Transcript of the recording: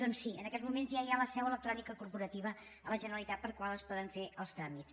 doncs sí en aquests moments ja hi ha la seu electrònica corporativa a la generalitat per la qual es poden fer els tràmits